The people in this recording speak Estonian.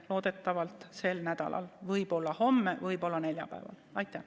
Loodetavasti toimub see sel nädalal, võib-olla homme, võib-olla neljapäeval.